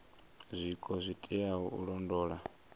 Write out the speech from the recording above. zwiko zwo teaho u londola